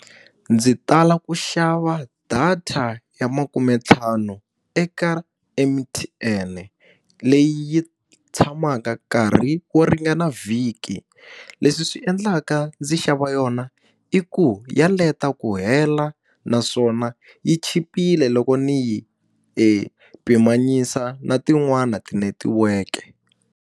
Ndzi tala ku xava data ya makumentlhanu eka M_T_N leyi yi tshamaka nkarhi wo ringana vhiki. Leswi swi swi endlaka ndzi xava yona i ku ya leta ku hela naswona yi chipile loko ndzi yi pimanyisa na tin'wani tinetiweke.